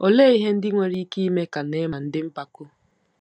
Olee ihe ndị nwere ike ime ka Neaman dị mpako?